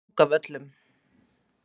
Drangavöllum